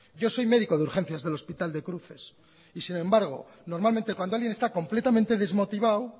yo soy médico de urgencias del hospital de cruces y sin embargo normalmente cuando alguien esta completamente desmotivado